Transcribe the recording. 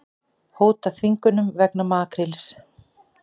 Hóta þvingunum vegna makríls